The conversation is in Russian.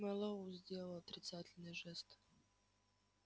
мэллоу сделал отрицательный жест